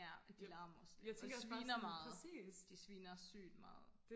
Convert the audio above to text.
ja de larmer også lidt og sviner meget de sviner sygt meget